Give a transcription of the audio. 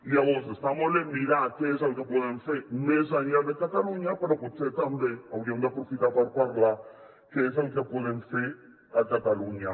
llavors està molt bé mirar què és el que podem fer més enllà de catalunya però potser també hauríem d’aprofitar per parlar què és el que podem fer a catalunya